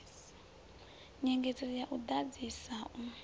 nyengedzedzo ya u ḓadzisa u